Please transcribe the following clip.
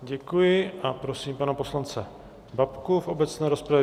Děkuji a prosím pana poslance Babku v obecné rozpravě.